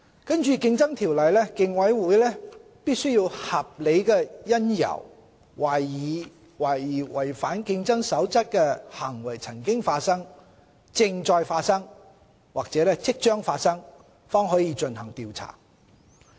根據《競爭條例》，競委會必須有合理因由懷疑違反競爭守則的行為曾發生、正在發生或即將發生，方可進行調查。